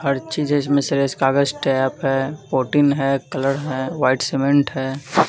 हर चीज़ इसमें से है प्रोटीन है कलर है व्हाइट सीमेंट है।